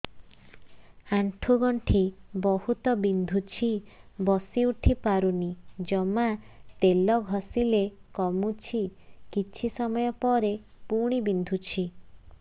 ଆଣ୍ଠୁଗଣ୍ଠି ବହୁତ ବିନ୍ଧୁଛି ବସିଉଠି ପାରୁନି ଜମା ତେଲ ଘଷିଲେ କମୁଛି କିଛି ସମୟ ପରେ ପୁଣି ବିନ୍ଧୁଛି